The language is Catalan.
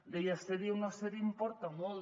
deia ser hi o no ser hi importa molt